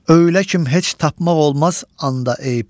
Öylə kim heç tapmaq olmaz onda eyb.